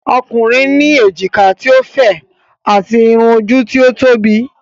Ọkùnrin ní èjìká ti o fẹ̀, ati Irun ojú tí ó tóbi.